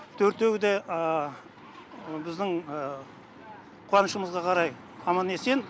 төртеуі де біздің қуанышымызға қарай аман есен